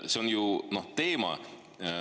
See ongi see teema.